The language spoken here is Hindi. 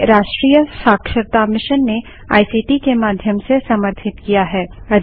जिसे राष्ट्रीय शिक्षा मिशन ने आईसीटी के माध्यम से समर्थित किया है